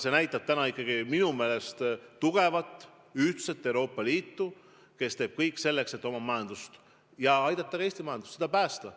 See näitab ikkagi tugevat, ühtset Euroopa Liitu, kes teeb kõik selleks, et oma majandust aidata ja sealhulgas ka Eesti majandust päästa.